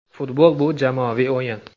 Futbol bu – jamoaviy o‘yin.